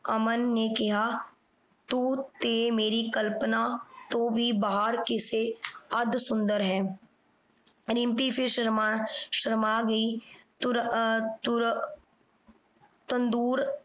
ਅਮਨ ਨੇ ਕਿਹਾ। ਤੂੰ ਤੇ ਮੇਰੀ ਕਲਪਨਾ ਤੋਂ ਵੀ ਬਾਹਰ ਕਿਸੇ ਅੱਧ ਸੁੰਦਰ ਹੈ। ਰਿੰਪੀ ਫਿਰ ਸ਼ਰਮਾ ਸ਼ਰਮਾ ਗਈ। ਤੁਰ ਆਹ ਤੁਰ ਤੰਦੂਰ